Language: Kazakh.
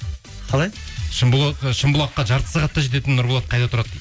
қалай ы шымбұлаққа жарты сағатта жететін нұрболат қайда тұрады